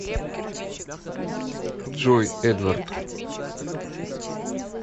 джой эдвард